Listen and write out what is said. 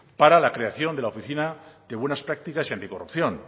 para la creación de una oficina de buenas prácticas y anticorrupción